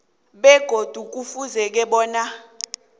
begodu kufuze bona